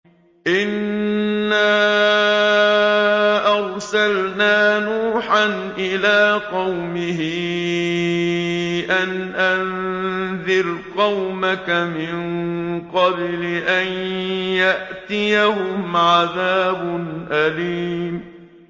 إِنَّا أَرْسَلْنَا نُوحًا إِلَىٰ قَوْمِهِ أَنْ أَنذِرْ قَوْمَكَ مِن قَبْلِ أَن يَأْتِيَهُمْ عَذَابٌ أَلِيمٌ